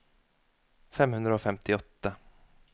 fem hundre og femtiåtte